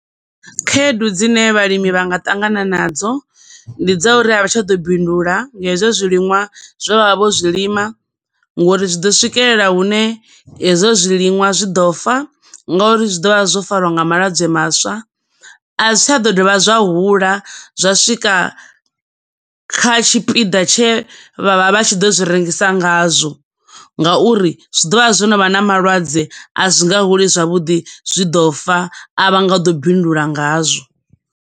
Khaedu dzine vhalimi vhanga ṱangana na dzo, ndi dza uri a vha tsha ḓo bindula nga hezwo zwilinwa zwe vha vha vho zwi lima ngo uri zwi ḓo swikelela hune hezwo zwiliṅwa zwi ḓo fa, nga uri zwi ḓo vha zwo farwa nga malwadze maswa, a zwi tsha ḓo dovha zwa hula zwa swika kha tshipiḓa tshe vha vha vha tshi ḓo zwi rengisa nga zwo, nga uri zwi ḓo vha zwo no vha na malwadze, a zwi nga huli zwavhuḓi, zwi ḓo fa, a vha nga ḓo bindula ngazwo.